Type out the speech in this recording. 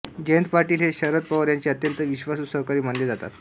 जयंत पाटील हे शरद पवार यांचे अत्यंत विश्वासू सहकारी मानले जातात